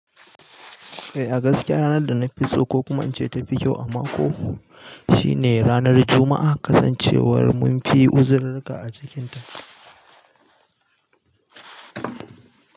Eh, a gaskiya ranar da na fi so ko kuma in ce ta fi kyau a mako shine ranar Juma'a. Kasancewar mun fi uzururuka a cikinta.